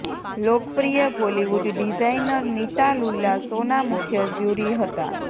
લોકપ્રિય બોલીવુડ ડિઝાઇનર નિતા લુલ્લા શોના મુખ્ય જ્યુરી હતાં